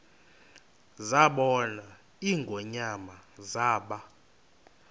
zabona ingonyama zaba